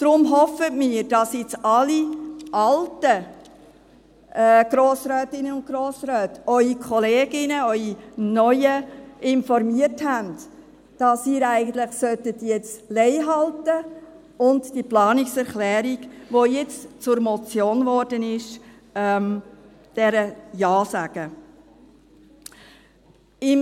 Deshalb hoffen wir, dass alle alten Grossrätinnen und Grossräte ihre neuen Kolleginnen informiert haben, dass sie jetzt eigentlich Lei halten und zu dieser Planungserklärung, die jetzt zur Motion geworden ist, Ja sagen sollten.